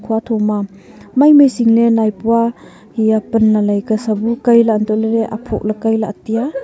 khuatho ma maimai singlet naipua haiya pan lailai ka sa bu kaila untohley aphoh lahe kailahe taiya.